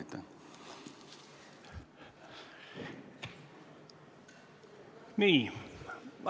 Aitäh!